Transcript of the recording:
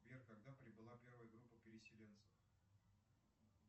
сбер когда прибыла первая группа переселенцев